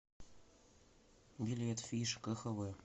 билет фиш кхв